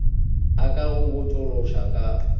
a ka go botšološoša ka